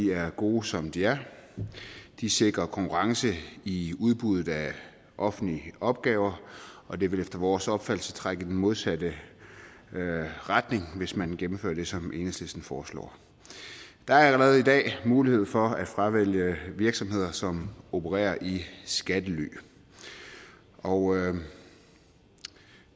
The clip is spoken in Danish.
er gode som de er de sikrer konkurrence i udbuddet af offentlige opgaver og det vil efter vores opfattelse trække i den modsatte retning hvis man gennemfører det som enhedslisten foreslår der er allerede i dag mulighed for at fravælge virksomheder som opererer i skattely og